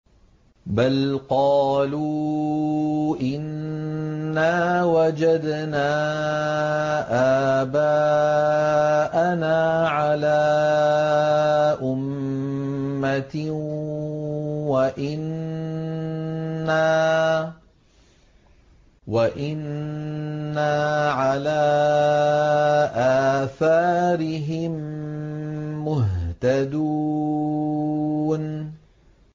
بَلْ قَالُوا إِنَّا وَجَدْنَا آبَاءَنَا عَلَىٰ أُمَّةٍ وَإِنَّا عَلَىٰ آثَارِهِم مُّهْتَدُونَ